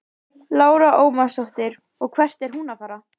Lára Ómarsdóttir: Og hvert er hún að fara?